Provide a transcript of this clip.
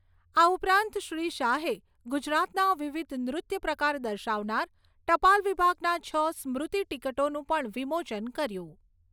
આ ઉપરાંત શ્રી શાહે, ગુજરાતના વિવિધ નૃત્ય પ્રકાર દર્શાવનાર, ટપાલ વિભાગના છ સ્મૃતી તિકોટાનું પણ વિમોચન કર્યુ